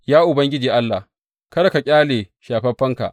Ya Ubangiji Allah, kada ka ƙyale shafaffenka.